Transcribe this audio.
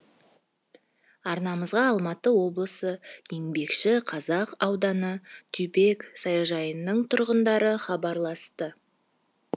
арнамызға алматы облысы еңбекшіқазақ ауданы дюбек саяжайының тұрғындары хабарласты